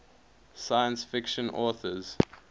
science fiction authors